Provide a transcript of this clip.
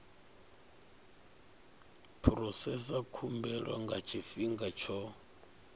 phurosesa khumbelo nga tshifhinga tsho